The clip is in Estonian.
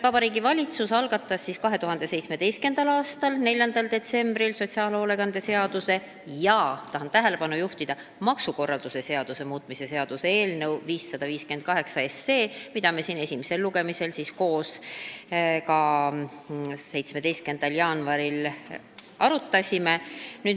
Vabariigi Valitsus algatas 2017. aasta 4. detsembril sotsiaalhoolekande seaduse ja – tahan tähelepanu juhtida – maksukorralduse seaduse muutmise seaduse eelnõu 558, mida me siin 17. jaanuaril esimesel lugemisel ka koos arutasime.